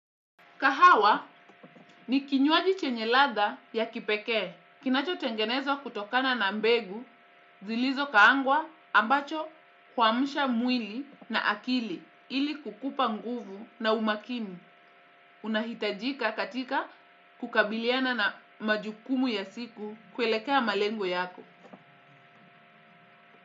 Kahawa ni kinywaji chenye ladha ya kipekee. Kinacho tengenezwa kutokana na mbegu, zilizo kaangwa ambacho kuamsha mwili na akili ili kukupa nguvu na umaakini. Unahitajika katika kukabiliana na majukumu ya siku kuelekea malengo yako.